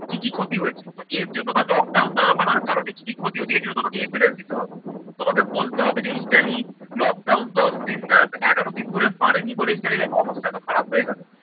কি কি ক্ষতি হয়েছে। তো এর জন্য বা লকডাউন না মানার কারণে কি কি ক্ষতি হয়েছে? এর জন্য তোমাকে evidence দিতে হবে, তোমাকে বলতে হবে যে Italy lockdown দশ দিন এগারো দিন ধরে মানেনি বলে Italy অবস্থা এতো খারাপ হয়ে গেলো।